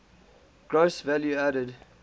gross value added